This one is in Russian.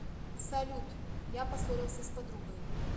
салют я поссорился с подругой